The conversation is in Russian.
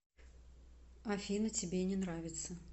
афина тебе не нравится